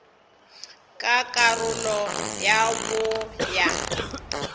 ka karolo ya bo ya